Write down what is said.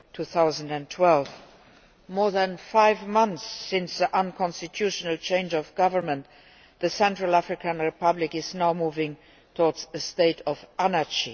2012. More than five months after the unconstitutional change of government, the Central African Republic is now moving towards a state of anarchy.